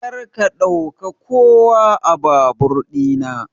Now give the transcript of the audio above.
Karka ɗauka kowa a babur ɗina.